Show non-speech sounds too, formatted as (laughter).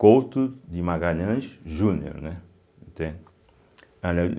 Couto de Magalhães Júnior, né, entende. (unintelligible)